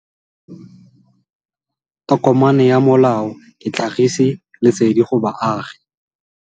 Tokomane ya molao ke tlhagisi lesedi go baagi.